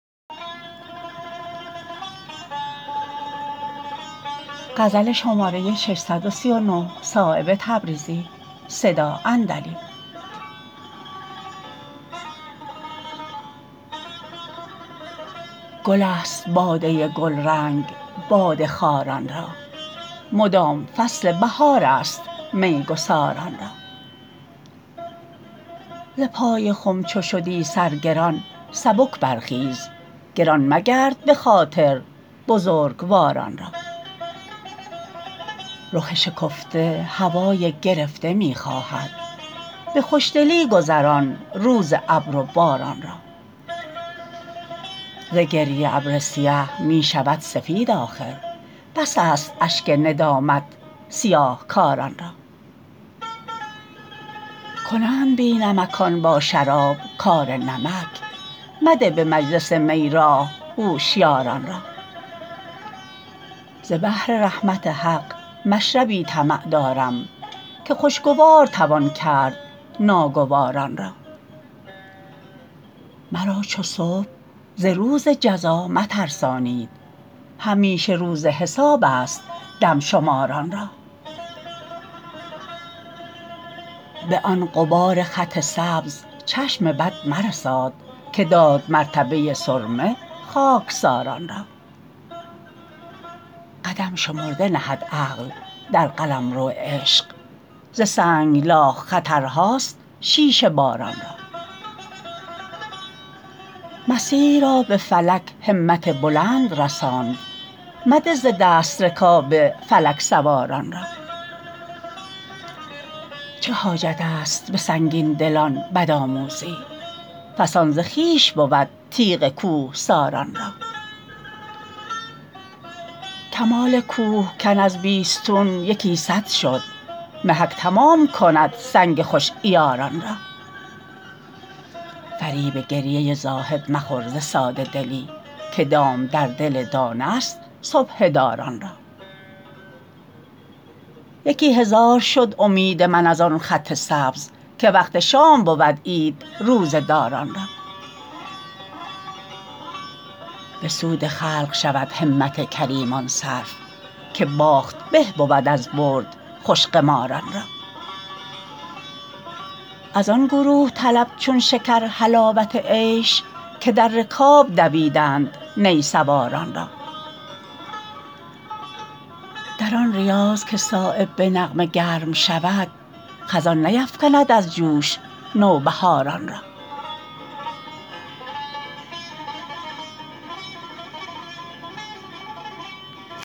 گل است باده گلرنگ باده خواران را مدام فصل بهارست میگساران را ز پای خم چو شدی سر گران سبک برخیز گران مگرد به خاطر بزرگواران را رخ شکفته هوای گرفته می خواهد به خوشدلی گذران روز ابر و باران را ز گریه ابر سیه می شود سفید آخر بس است اشک ندامت سیاهکاران را کنند بی نمکان با شراب کار نمک مده به مجلس می راه هوشیاران را ز بحر رحمت حق مشربی طمع دارم که خوشگوار توان کرد ناگواران را مرا چو صبح ز روز جزا مترسانید همیشه روز حساب است دم شماران را به آن غبار خط سبز چشم بد مرساد که داد مرتبه سرمه خاکساران را قدم شمرده نهد عقل در قلمرو عشق ز سنگلاخ خطرهاست شیشه باران را مسیح را به فلک همت بلند رساند مده ز دست رکاب فلک سواران را چه حاجت است به سنگین دلان بدآموزی فسان ز خویش بود تیغ کوهساران را کمال کوهکن از بیستون یکی صد شد محک تمام کند سنگ خوش عیاران را فریب گریه زاهد مخور ز ساده دلی که دام در دل دانه است سبحه داران را یکی هزار شد امید من ازان خط سبز که وقت شام بود عید روزه داران را به سود خلق شود همت کریمان صرف که باخت به بود از برد خوش قماران را ازان گروه طلب چون شکر حلاوت عیش که در رکاب دویدند نی سواران را در آن ریاض که صایب به نغمه گرم شود خزان نیفکند از جوش نوبهاران را